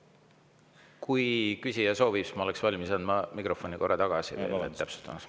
Kui küsija soovib, siis ma olen valmis andma mikrofoni korra tagasi täpsustamiseks.